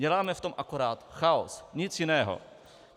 Děláme v tom akorát chaos, nic jiného.